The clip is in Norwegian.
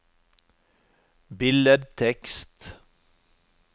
billedtekst